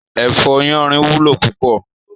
Èfò yánrìn wúló púpò